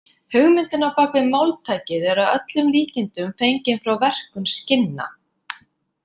Hugmyndin á bak við máltækið er að öllum líkindum fengin frá verkun skinna.